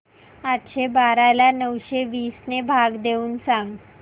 आठशे बारा ला नऊशे वीस ने भाग देऊन सांग